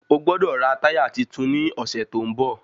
Ọgbọ́dọ̀ rà táyà titun ní ọ̀sẹ̀ tó ń bọ̀